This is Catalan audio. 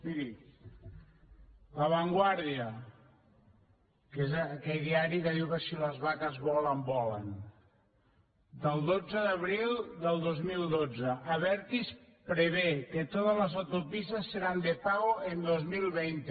miri la vanguardia que és aquell diari que diu que si les vaques volen volen del dotze d’abril del dos mil dotze abertis prevé que todas las autopistas serán de pago en dos mil vint